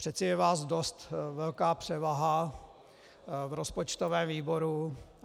Přece je vás dost velká převaha v rozpočtovém výboru.